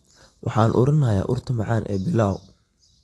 Waxaan urinayaa urta macaan ee pilau.